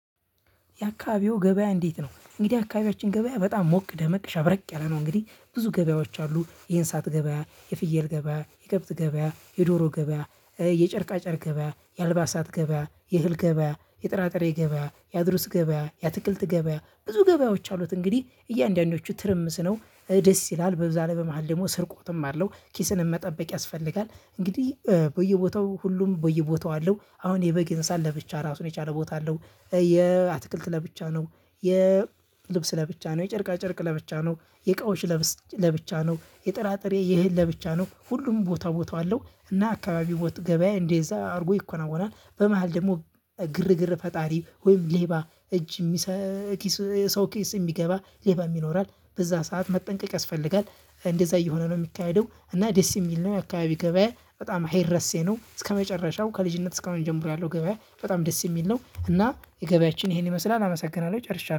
የአካባቢው ገበያ? እንዴት ነው እንግዲህ አካባቢያችን ገበያ በጣም ሞቅ ደመቅ ሸብረቅ ያለ ነው። እንግዲህ ብዙ ገበያዎች አሉ። የእንስሳት ገበያ የፍየል ገበያ የከብት ገበያ የዶሮ ገበያ የጨርቃ ጨር ገበያ የአልባሳት ገበያ የህል ገበያ የጥራጥሬ ገበያ የአድሩስ ገበያ የትክልት ገበያ ብዙ ገበያዎች አሉት። እንግዲህ እያንዳንዶቹ ትርምስ ነው ደስ ይላል። በዛን በመሃል ደግሞ ስርቆትም አለው ኪስን መጠበቅ ያስፈልጋል። እንግዲህ በየቦታው ሁሉም በየቦታው አለው አሁን የበግ የንስሳት ለብቻ ራሱን የቻለ ቦታ አለው። የአትክልት ለብቻ ነው። የልብስ ለብቻ ነው የጨርቃ ጨርቅ ለብቻ ነው። የእቃዎች ለብቻ ነው። የጥራጥሬ የህል ለብቻ ነው ሁሉም ቦታ ቦታው አለው። እና አካባቢ ገበያ እንደዛ አድርጎ ይከናወናል። በመሃል ደግሞ ግርግር ፈጣሪ ወይም ሌባ እጅ የሚሰክስ ሰው ኬስ የሚገባ ሌባም ይኖራል በዛ ሰዓት መጠንቀቅ ያስፈልጋል። እንደዛ እየሆነ ነው የሚካሄደው እና ደስ የሚል ነው። አካባቢ ገበያ በጣም ሄረሴ ነው። እስከመጨረሻው ከልጅነት እስከመጀመሩ ያለው ገበያ በጣም ደስ የሚል ነው። እና የገበያችን ይሄን ይመስላል አመሰግናለሁ ጨርሻለሁ